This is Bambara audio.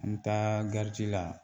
An bɛ taa la